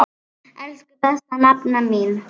Elsku besta nafna mín.